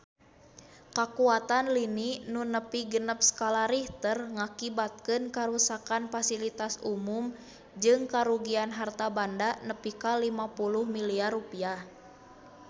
Kakuatan lini nu nepi genep skala Richter ngakibatkeun karuksakan pasilitas umum jeung karugian harta banda nepi ka 50 miliar rupiah